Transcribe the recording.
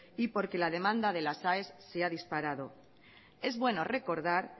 y porque la demanda de las aes se ha disparado es bueno recordar